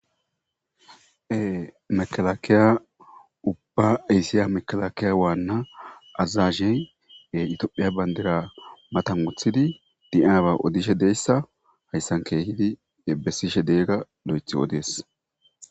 Ee Makalkalay uba aysiza makalakalay waana azajey ee etophphiya bandira matan wothidi de"yabba odishshe des hayisan kehidi besishshe de'yaga lo'eththidi odes